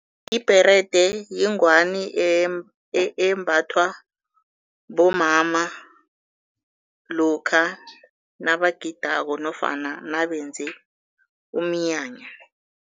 Ibherede yingwani embathwa bomama lokha nabagidako nofana nabenze umnyanya.